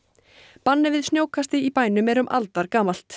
bannið við snjókasti bænum er um aldargamalt